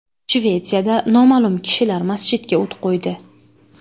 Shvetsiyada noma’lum kishilar masjidga o‘t qo‘ydi.